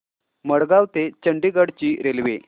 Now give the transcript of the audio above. मडगाव ते चंडीगढ ची रेल्वे